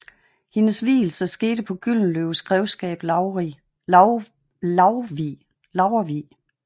Hendes vielsen skete på Gyldenløves grevskab Laurvig